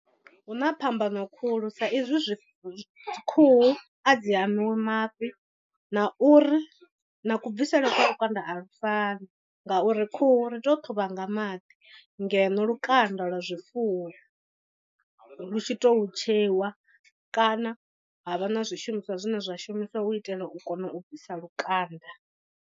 Huna phambano khulu sa ezwi zwi khuhu a dzi hamiwi mafhi na uri na ku bvisele kwa lukanda a lu fani. Ngauri khuhu ri tou ṱhuvha nga maḓi ngeno lukanda lwa zwifuwo lu tshi to tsheiwa kana ha vha na zwishumiswa zwine zwa shumiswa hu u itela u kona u bvisa lukanda.